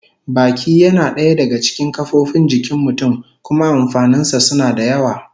Baki yana daya daga cikin kofofin jikin mutum, kuma amfanin sa suna da yawa